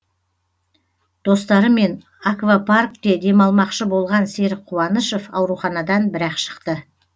достарымен аквапаркте демалмақшы болған серік қуанышов ауруханадан бір ақ шықты